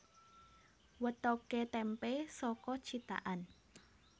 Wetokké témpé saka cithakan